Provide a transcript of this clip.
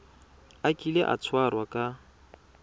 a kile a tshwarwa ka